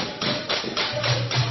गीत